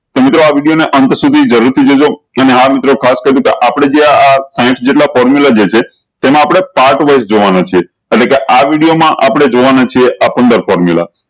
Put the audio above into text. તો મિત્રો આ વિડીયો ન અંત સુધી જરૂર થી જોજો અને આ મિત્રો ખાસ કરી ને આપળે જે આ સય્થ જેટલા formula જે છે તેમાં આપળે part wise જોવાના છે એને કેહ આ વિડીયો મા આપળે જોવાના છે આ પંદર formula